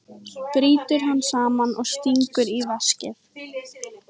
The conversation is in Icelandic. Brýtur hann saman og stingur í veskið.